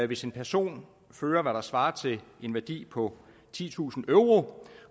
hvis en person fører hvad der svarer til en værdi på titusind euro